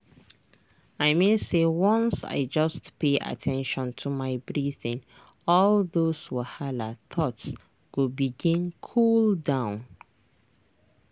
i mean say once i just pay at ten tion to my breathing all those wahala thoughts go begin cool down.